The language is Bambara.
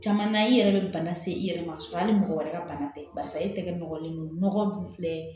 Caman na i yɛrɛ bɛ bana se i yɛrɛ ma k'a sɔrɔ hali mɔgɔ wɛrɛ ka bana tɛ barisa e tɛ nɔgɔlen don nɔgɔ dun filɛ